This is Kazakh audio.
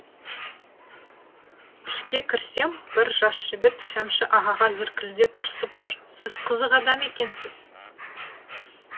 ішке кірсем бір жас жігіт шәмші ағаға зіркілдеп ұрсып тұр сіз қызық адам екенсіз